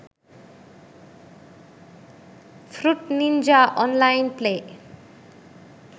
fruit ninja online play